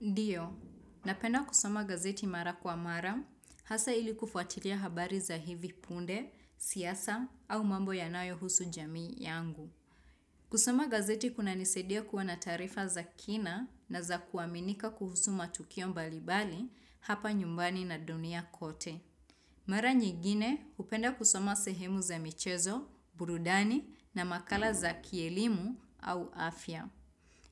Ndiyo, napenda kusoma gazeti mara kwa mara, hasa ili kufuatilia habari za hivi punde, siasa, au mambo ya nayo husu jamii yangu. Kusoma gazeti kuna nisaidia kuwa na tarifa za kina na za kuaminika kuhusu matukio mbalibali hapa nyumbani na dunia kote. Mara nyingine, upenda kusoma sehemu za michezo, burudani na makala za kielimu au afya.